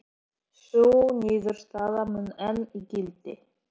Sú niðurstaða mun enn í gildi.